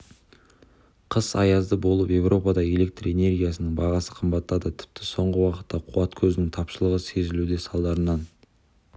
қыс аязды болып еуропада электр энергиясының бағасы қымбаттады тіпті соңғы уақытта қуат көзінің тапшылығы сезілуде салдарынан